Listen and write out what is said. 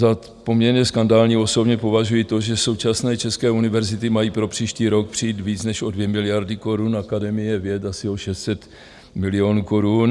Za poměrně skandální osobně považuji to, že současné české univerzity mají pro příští rok přijít víc než o 2 miliardy korun, Akademie věd asi o 600 milionů korun.